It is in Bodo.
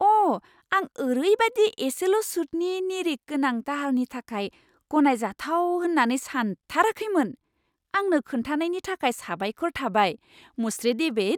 अ ! आं ओरैबायदि एसेल' सुदनि निरिख गोनां दाहारनि थाखाय गनायजाथाव होन्नानै सानथाराखैमोन। आंनो खोनथानायनि थाखाय साबायखर थाबाय, मुश्री डेविड।